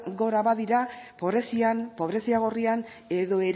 gora badira pobrezian pobrezia gorrian edo